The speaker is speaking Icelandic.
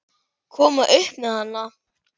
Koma upp um hana?